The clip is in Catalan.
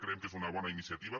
creiem que és una bona iniciativa